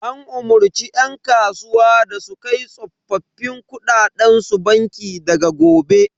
An umarce yan kasuwa da su kai tsoffin kuɗaɗen su banki daga gobe.